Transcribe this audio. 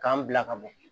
K'an bila ka bɔ